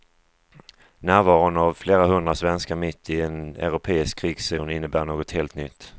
Närvaron av flera hundra svenskar mitt i en europeisk krigszon innebär något helt nytt.